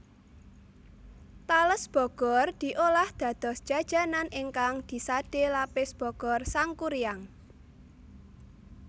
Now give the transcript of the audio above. Tales Bogor diolah dados jajanan ingkang disade Lapis Bogor Sangkuriang